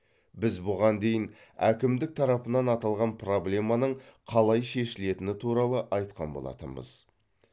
біз бұған дейін әкімдік тарапынан аталған проблеманың қалай шешілетіні туралы айтқан болатынбыз